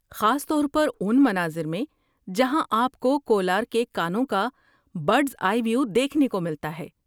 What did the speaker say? خاص طور پر ان مناظر میں جہاں آپ کو کولار کے کانوں کا برڈس آئی ویو دیکھنے کو ملتا ہے۔